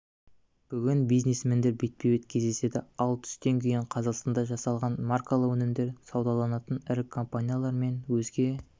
бүгін бизнесмендер бетпе-бет кездеседі ал түстен кейін қазақстанда жасалған маркалы өнімдер саудаланатын ірі компаниялар мен өзге